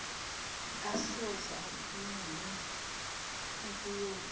asoze athunyelwe ukuyolwa